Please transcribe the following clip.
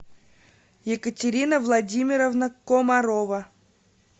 екатерина владимировна комарова